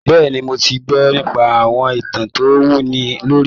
Bẹ́ẹ̀ni, mo ti gbọ́ nípa àwọn ìtàn tó wúni lórí.